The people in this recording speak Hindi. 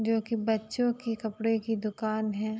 जोकि बच्चों की कपड़े की दुकान है।